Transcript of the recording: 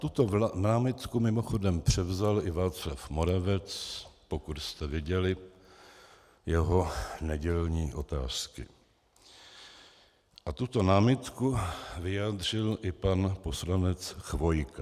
Tuto námitku mimochodem převzal i Václav Moravec, pokud jste viděli jeho nedělní Otázky, a tuto námitku vyjádřil i pan poslanec Chvojka.